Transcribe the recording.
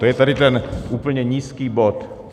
To je tady ten úplně nízký bod.